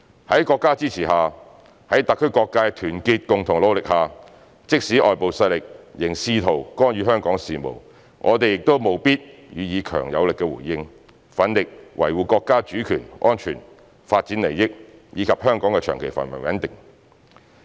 在國家支持下，在特區各界的團結共同努力下，即使外部勢力仍試圖干預香港事務，我們亦務必予以強而有力的回應，奮力維護國家主權、安全、發展利益，以及香港的長期繁榮穩定。